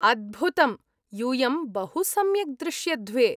अद्भुतम्, यूयं बहुसम्यक् दृश्यध्वे।